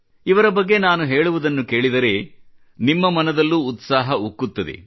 ಇವರ ಬಗ್ಗೆ ನಾನು ಹೇಳುವುದನ್ನು ಕೇಳಿದರೆ ನಿಮ್ಮ ಮನದಲ್ಲೂ ಉತ್ಸಾಹ ಉಕ್ಕುತ್ತದೆ